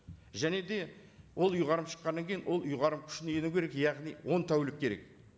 және де ол ұйғарым шыққаннан кейін ол ұйғарым күшіне ену керек яғни он тәулік керек